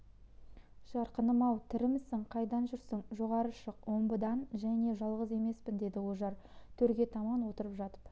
жарқыным-ау тірімісің қайдан жүрсің жоғары шық омбыдан және жалғыз емеспін деді ожар төрге таман отырып жатып